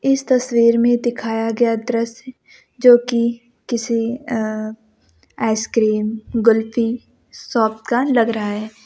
इस तस्वीर में दिखाया गया दृश्य जो कि किसी अ आइसक्रीम कुल्फी शॉप का लग रहा है।